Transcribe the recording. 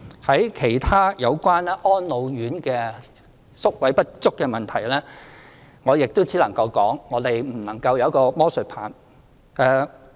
就其他有關安老院宿位不足的問題，我亦只能說，我們沒有魔術棒。